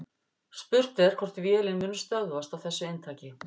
Spurt er hvort vélin muni stöðvast á þessu inntaki.